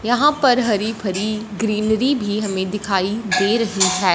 यहां पर हरी भरी ग्रीनरी भी हमें दिखाई दे रही है।